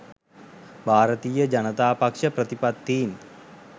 භාරතීය ජනතා පක්ෂ ප්‍රතිපත්තීන්